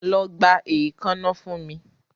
Lọ gba eekanna fun mi